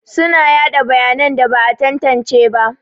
Suna yaɗa bayanan da ba a tantance ba.